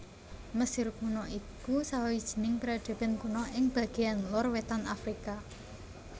Mesir Kuna iku sawijining peradaban kuna ing bagéan lor wétan Afrika